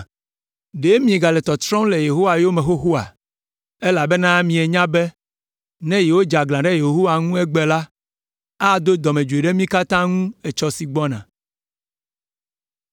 Ɖe miegale tɔtrɔm le Yehowa yome xoxoa? Elabena mienya be ne yewodze aglã ɖe Yehowa ŋu egbe la, ado dɔmedzoe ɖe mí katã ŋu etsɔ si gbɔna.